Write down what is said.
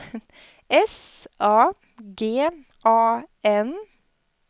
S A G A N